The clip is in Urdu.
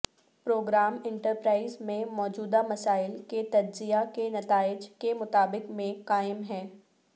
پروگرام انٹرپرائز میں موجودہ مسائل کے تجزیہ کے نتائج کے مطابق میں قائم ہے